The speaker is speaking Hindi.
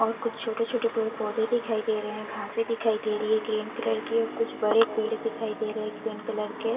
और कुछ छोटे छोटे पेड़ पोधे दिखाई दे रहे है घासें दिखाई दे रही है ग्रीन कलर की और कुछ बड़े पेड़ दिखाई दे रहे है ग्रीन कलर के।